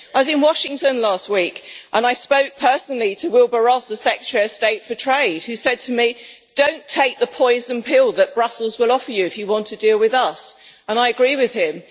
I was in Washington last week and I spoke personally to Wilbur Ross, the Secretary of State for Trade, who said to me Don't take the poison pill that Brussels will offer you if you want to deal with us'. I agreed with him.